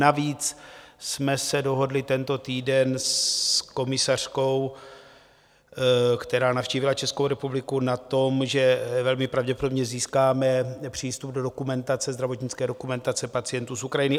Navíc jsme se dohodli tento týden s komisařkou, která navštívila Českou republiku, na tom, že velmi pravděpodobně získáme přístup do dokumentace, zdravotnické dokumentace pacientů z Ukrajiny.